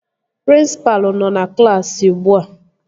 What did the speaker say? Prịnsịpalụ nọ na klaasị ugbua